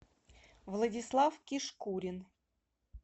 владислав кишкурин